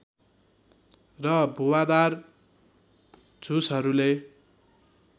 र भुवादार झुसहरूले